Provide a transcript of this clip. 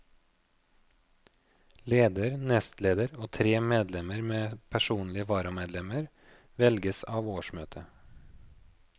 Leder, nestleder og tre medlemmer med personlige varamedlemmer velges av årsmøtet.